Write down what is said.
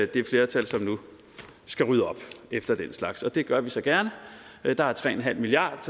det flertal som nu skal rydde op efter den slags og det gør vi så gerne der er tre milliard